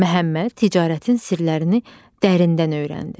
Məhəmməd ticarətin sirlərini dərindən öyrəndi.